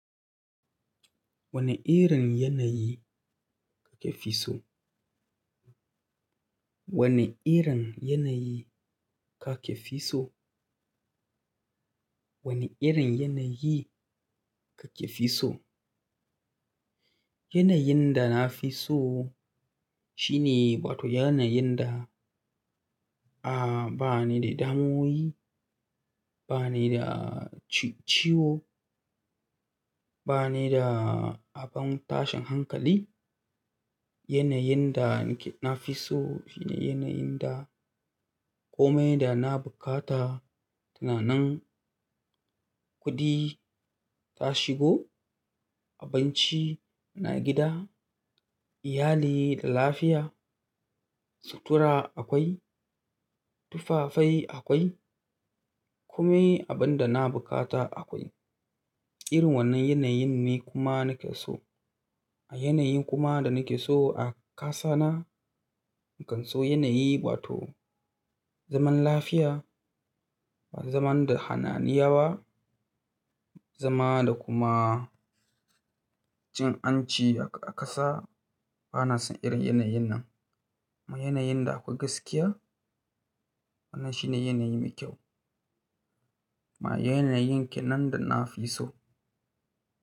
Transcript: Wane irin yanayi kake fi so? Wane irin yanayi kake fi so? Wane irin yanayi kake fi so? Yanayin da na fi so shine wato yanayin da, ah, ba ni da damuwoyi, ba ni da ci-ciwo, ba ni da abin tashin hankali. Yanayin da nike-- na fi so shine yanayin da kome da na bukata suna nan. Kuɗi ta shigo, abinci na gida, iyali da lafiya, sutura akwai, tufafai akwai, komai abin da na bukata akwai. Irin wannan yanayin ne kuma nake so. Yanayin kuma da nake so a ƙasa na, nakan so yanayi wato zaman lafiya, zaman da hananiawa, zama da kuma cin anci a kasa. Ba na son irin yanayin nan. Amma yanayin da akwai gaskiya, wannan shi ne yanayi mai kyau. Ma yanayin ke nan da na fi so.